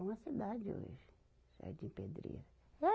É uma cidade hoje, o Jardim Pedreira.